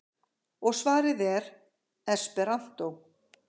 Og svarið er: esperantó.